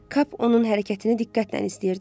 Kap onun hərəkətini diqqətlə izləyirdi.